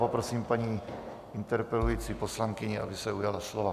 Poprosím paní interpelující poslankyni, aby se ujala slova.